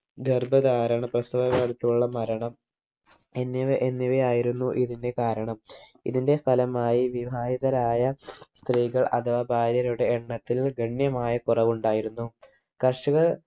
ഗർഭധാരണ പ്രസവം അടുത്തുള്ള മരണം എന്നിവ എന്നിവയായിരുന്നു ഇതിന്റെ കാരണം ഇതിന്റെ ഫലമായി വിവാഹിതരായ സ്ത്രീകൾ അഥവാ ഭാര്യരുടെ എണ്ണത്തിൽ ഗണ്യമായ കുറവുണ്ടായിരുന്നു കർഷകർ